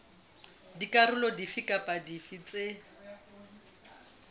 dikarolo dife kapa dife tse